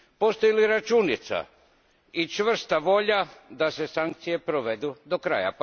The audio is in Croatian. Postoje li računica i čvrsta volja da se sankcije provedu do kraja?